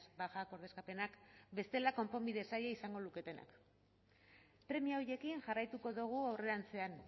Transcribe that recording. bajak ordezkapenak bestela konponbide zaila izango luketenak premia horiekin jarraituko dugu aurrerantzean